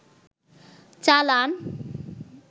চালান